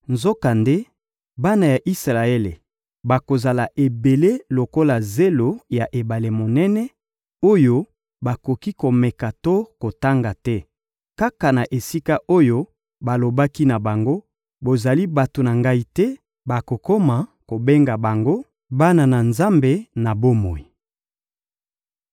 Nzokande, bana ya Isalaele bakozala ebele lokola zelo ya ebale monene, oyo bakoki komeka to kotanga te; kaka na esika oyo balobaki na bango: «Bozali bato na ngai te,» bakokoma kobenga bango «bana na Nzambe na bomoi.»